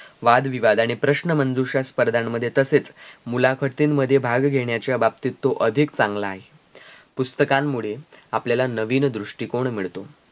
वादविवादाने प्रश्नमंजुषा स्पर्धा मध्ये तसेच मुलाखतीनमध्ये भाग घेण्याच्या बाबतीत तो अधीक चांगला आहे. पुस्तकांमुळे आपल्याला नवीन दृष्टीकोन मिळतो